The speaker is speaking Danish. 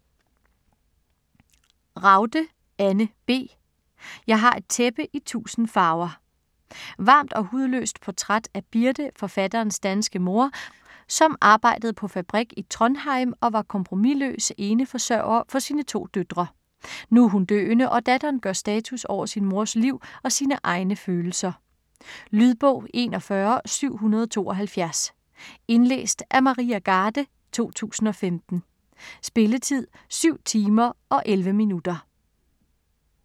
Ragde, Anne B.: Jeg har et tæppe i tusind farver Varmt og hudløst portræt af Birte, forfatterens danske mor, som arbejdede på fabrik i Trondheim og var kompromisløs eneforsørger for sine to døtre. Nu er hun døende, og datteren gør status over sin mors liv og sine egne følelser. Lydbog 41772 Indlæst af Maria Garde, 2015. Spilletid: 7 timer, 11 minutter.